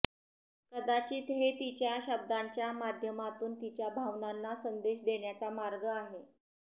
कदाचित हे तिच्या शब्दांच्या माध्यमातून तिच्या भावनांना संदेश देण्याचा मार्ग आहे